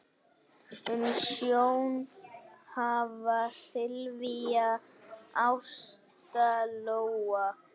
Umsjón hafa Silvía, Ásta Lóa.